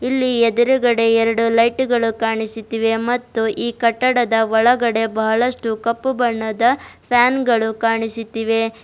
ಇಲ್ಲಿ ಎದುರುಗಡೆ ಎರಡು ಲೈಟ್ ಗಳು ಕಾಣಿಸುತ್ತಿವೆ ಮತ್ತು ಈ ಕಟ್ಟಡದ ಒಳಗಡೆ ಬಹಳಷ್ಟು ಕಪ್ಪು ಬಣ್ಣದ ಫ್ಯಾನ್ ಗಳು ಕಾಣಿಸುತ್ತಿವೆ.